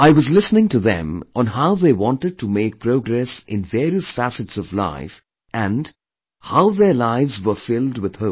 I was listening to them on how they wanted to make progress in various facets of life and, how their lives were filled with hope